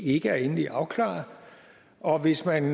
ikke er endelig afklaret og hvis man